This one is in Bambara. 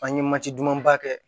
An ye dumanba kɛ